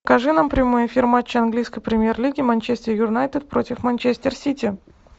покажи нам прямой эфир матча английской премьер лиги манчестер юнайтед против манчестер сити